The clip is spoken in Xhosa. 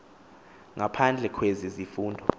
ngaphandle kwezi zifundo